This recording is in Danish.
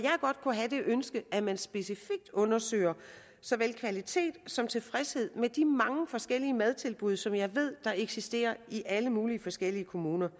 have det ønske at man specifikt undersøger såvel kvaliteten som tilfredsheden med de mange forskellige madtilbud som jeg ved eksisterer i alle mulige forskellige kommuner